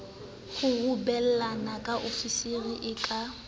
kgurumbala ke ofisiri e ka